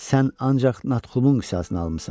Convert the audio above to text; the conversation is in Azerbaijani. Sən ancaq Natxumun qisasını almısan.